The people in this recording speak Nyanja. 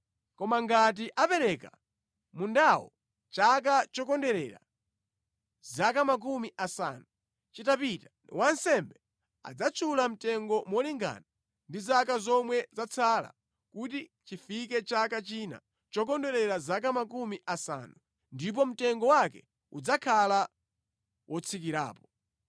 Koma ngati apereka mundawo chaka chokondwerera zaka makumi asanu chitapita, wansembe adzatchula mtengo molingana ndi zaka zomwe zatsala kuti chifike chaka china chokondwerera zaka makumi asanu, ndipo mtengo wake udzakhala wotsikirapo.